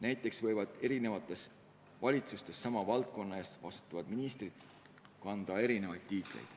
Näiteks võivad eri valitsustes sama valdkonna eest vastutavatel ministritel olla erinevad ametinimetused.